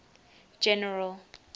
general